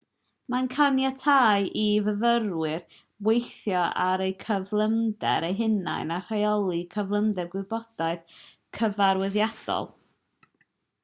mae'n caniatáu i fyfyrwyr weithio ar eu cyflymder eu hunain a rheoli cyflymder gwybodaeth gyfarwyddiadol